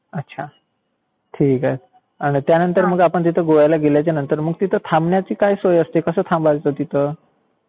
अच्छा ठीक आहे. त्यानंतर आपण तिथे गोव्याला गेल्याच्या नंतर तिथे थांबण्याची काय सोय असते, कसं थांबायचं तिथं?